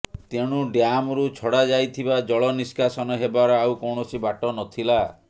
ତେଣୁ ଡ୍ୟାମରୁ ଛଡ଼ା ଯାଇଥିବା ଜଳ ନିଷ୍କାସନ ହେବାର ଆଉ କୌଣସି ବାଟ ନଥିଲା